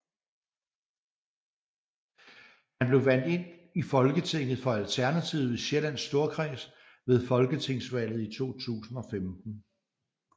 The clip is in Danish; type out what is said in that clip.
Han blev valgt ind i Folketinget for Alternativet i Sjællands Storkreds ved folketingsvalget i 2015